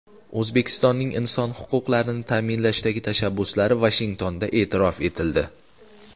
O‘zbekistonning inson huquqlarini ta’minlashdagi tashabbuslari Vashingtonda e’tirof etildi.